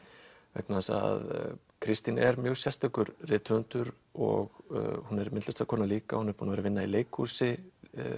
vegna þess að Kristín er mjög sérstakur rithöfundur og hún er myndlistarkona líka búin að vinna í leikhúsi